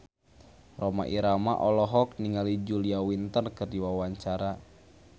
Rhoma Irama olohok ningali Julia Winter keur diwawancara